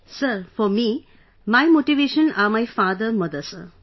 Sir, for me my motivation are my father mother, sir